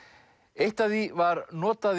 eitt af því var notað